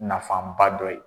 Nafanba dɔ ye.